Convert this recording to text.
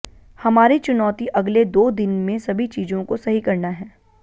हमारी चुनौती अगले दो दिन में सभी चीजों को सही करना है